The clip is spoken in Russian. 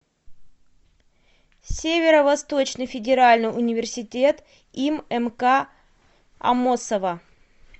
северо восточный федеральный университет им мк аммосова